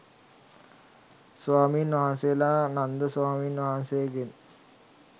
ස්වාමීන් වහන්සේලා නන්ද ස්වාමීන් වහන්සේගෙන්